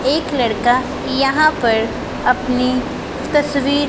एक लड़का यहां पर अपनी तस्वीर--